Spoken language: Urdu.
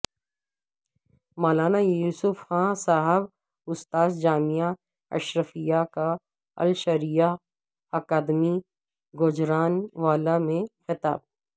مولانا یوسف خان صاحب استاذ جامعہ اشرفیہ کا الشریعہ اکادمی گوجرانوالہ میں خطاب